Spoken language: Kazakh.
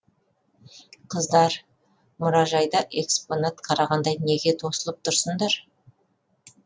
қыздар мұражайда экспонат қарағандай неге тосылып тұрсыңдар